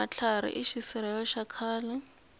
matlhari i xisirhelelo xa khale